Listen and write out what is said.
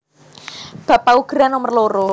Bab paugeran nomer loro